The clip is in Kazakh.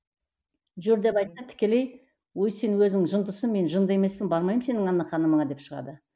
жүр деп айтсаң тікелей өй сен өзің жындысың мен жынды емеспін бармаймын мен сенің анна ханымыңа деп шығады